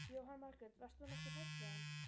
Jóhann Margrét: Varst þú nokkuð hrædd við hann?